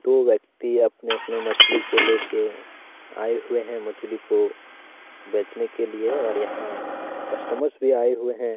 दो व्यक्ति अपने अपने मछली को लेके आए हुए हैं मछली को बेचने के लिए और यहां कस्टमर्स भी आए हुए हैं।